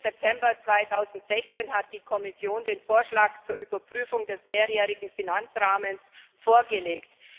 14. September 2016 hat die Kommission den Vorschlag zur Überprüfung des mehrjährigen Finanzrahmens vorgelegt.